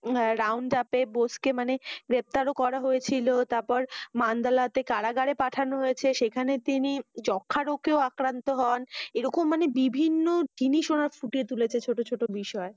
উনার Round up এ বসুকে মানি গ্রেপ্তার ও করেছিল। তারপর মান্দালাতে কারাগারে পাঠানো হয়েছে। সেখানে তিনি যক্ষা রোগেও আক্তান্ত হন। এরকম মানি ভিবিন্ন জিনিস পুঁটিকে তুলেছে ছোট ছোট বিষয়।